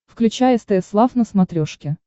включай стс лав на смотрешке